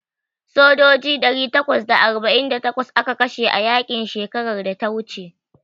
Sojoji ɗari takwas da arba'in da takwas aka kashe a yaƙi shekarar da ta wuce.